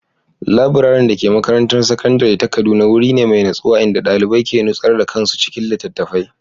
Laburaren da ke makarantar sakandare ta Kaduna wuri ne mai natsuwa inda ɗalibai ke nutsar da kansu cikin littattafai.